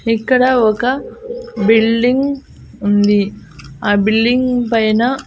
ఇక్కడ ఒక బిల్డింగ్ ఉంది ఆ బిల్డింగ్ పైన--